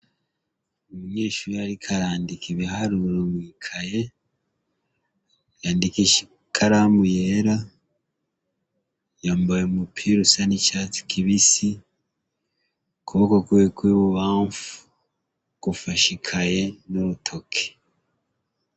Umunyeshure ariko arandika ibiharuro mwi kaye yandikisha ikaramu yera yambaye umupira usa n' icatsi kibisi ukuboko kwiwe kw' ibubamfu gufashe ikaye n' urutoke.